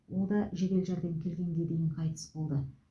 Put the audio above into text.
ол да жедел жәрдем келгенге дейін қайтыс болды